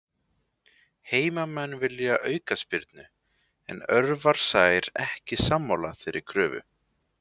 Heimamenn vilja aukaspyrnu, en Örvar Sær ekki sammála þeirri kröfu.